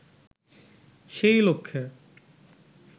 সেই লক্ষ্যে